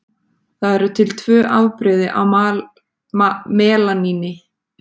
Það eru til tvö afbrigði af melaníni.